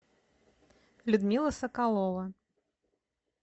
людмила соколова